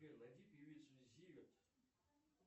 сбер найди певицу зиверт